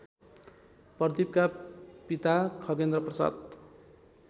प्रदिपका पिता खगेन्द्रप्रसाद